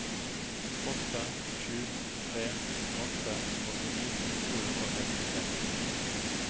åtte sju tre åtte åttini to hundre og sekstiseks